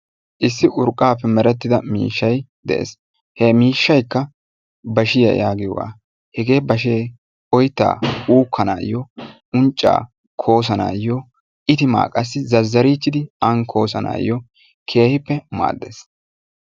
Issi urqqappe merettida miishshay de'ees. hege bashekka oytta uukanayo, uncca koosanayoo itima qassi zazarichchidi an koosanayoo keehippe maaddees.